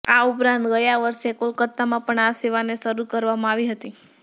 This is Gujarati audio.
આ ઉપરાંત ગયા વર્ષે કોલકતામાં પણ આ સેવાને શરૂ કરવામાં આવી હતી